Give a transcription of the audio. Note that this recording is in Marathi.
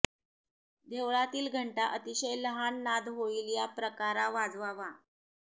देवळातील घंटा अतिशय लहान नाद होईल या प्रकारा वाजवावा